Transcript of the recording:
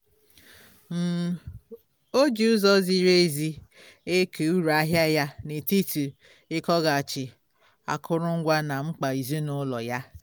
um ọ ji ụzọ ziri ezi eke uru ahịa ya n'etiti igoghachi akụrụngwa na mkpa ezinụlọ ya